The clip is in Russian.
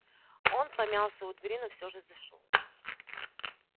он помялся у двери но всё же зашёл